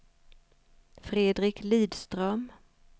Fredrik Lidström